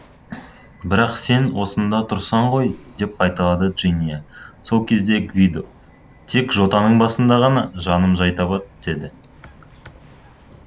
бірақ сен осында тұрсың ғой деп қайталады джиния сол кез гвидо тек жотаның басында ғана жаным жай табады деді